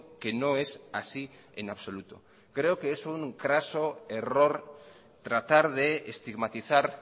que no es así en absoluto creo que es un craso error tratar de estigmatizar